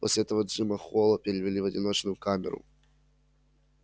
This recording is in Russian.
после этого джима холла перевели в одиночную камеру